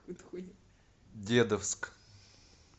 дедовск